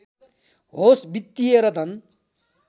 होस् वित्‍तीय र धन